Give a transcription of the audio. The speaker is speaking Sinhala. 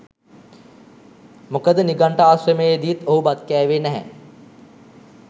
මොකද නිඝණ්ට ආශ්‍රමයේදීත් ඔහු බත් කෑවේ නැහැ.